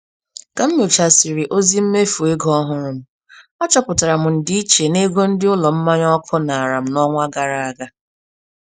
Ka m nyochasịrị ozi mmefu ego ọhụrụ m, achọpụtara m ndịiche n'ego ndị ụlọ mmanụ ọkụ nara m n'ọnwa gara aga.